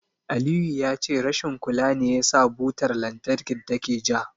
Aliyu ya ce rashin kula ne yasa butar lantarkin take ja.